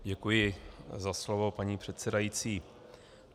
Děkuji za slovo, paní předsedající.